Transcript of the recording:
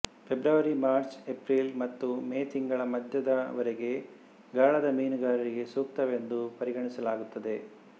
February March April ಮತ್ತು May ತಿಂಗಳ ಮಧ್ಯದ ವರೆಗೆ ಗಾಳದ ಮೀನುಗಾರಿಕೆಗೆ ಸೂಕ್ತವೆಂದು ಪರಿಗಣಿಸಲಾಗುತ್ತದೆ